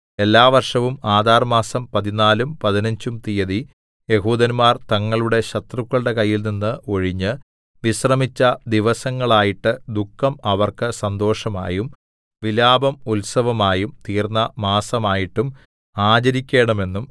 എല്ലാ വർഷവും ആദാർമാസം പതിനാലും പതിനഞ്ചും തീയതി യെഹൂദന്മാർ തങ്ങളുടെ ശത്രുക്കളുടെ കയ്യിൽനിന്ന് ഒഴിഞ്ഞ് വിശ്രമിച്ച ദിവസങ്ങളായിട്ട് ദുഃഖം അവർക്ക് സന്തോഷമായും വിലാപം ഉത്സവമായും തീർന്ന മാസമായിട്ടും ആചരിക്കേണമെന്നും